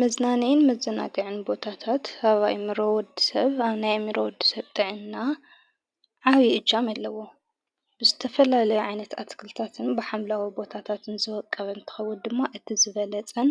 መዝናንይን መዘናግዕን ቦታታት ሃዋይ ምሮወድ ሰብ ኣብ ናይ ኤሚሮ ወድሰብጨጠዕና ዓዊ እጃም ኣለዎ ብስተፈላለይዓይነት ኣትክልታትን ብሓምላዊ ቦታታትን ዝወቀበን ተኸቡት ድማ እቲዝበለጸን